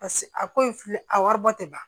Paseke a ko in filɛ a wari bɔ tɛ ban